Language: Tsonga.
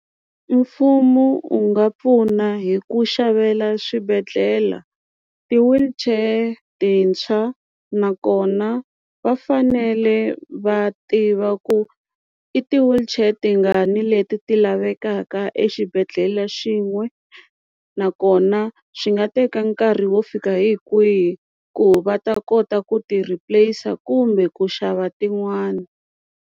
Mfumo wu nga pfuna hi ku xavela swibedhlele ti-wheelchair tintshwa nakona va fanele va tiva ku i ti-wheelchair tingani leti ti lavekaka exibedhlele xin'we nakona swi nga teka nkarhi wo fika hi kwihi ku va ta kota ku ti replace-a kumbe ku xava tin'wana.